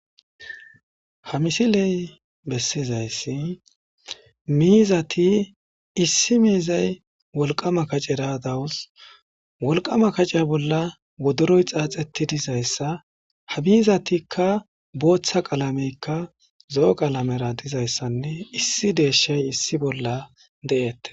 Ha misiley bessizayssi miizati issi miizay wolqama kacera dawus wolqama kaceya bolla wodoroy xaaxeti dizayssa ha miizatikka booththa qaalameykka zo7o qalamera dizayssanne issi deeshay issi bolla de7ettes.